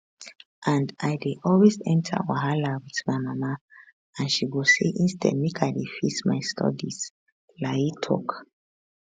and i dey always enta wahala wit my mama and she go say instead make i dey face my studies layi tok